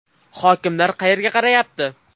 Hokimlar qayerga qarayapti?